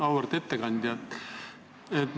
Auväärt ettekandja!